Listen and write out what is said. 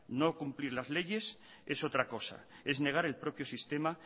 no cumplir las leyes es otra cosa es negar el propio sistema